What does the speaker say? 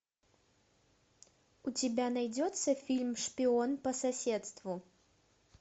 у тебя найдется фильм шпион по соседству